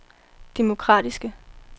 demokratiske